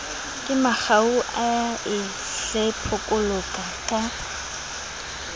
kemangau a e hlepholaka ka